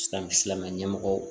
Silamɛ silamɛ ɲɛmɔgɔw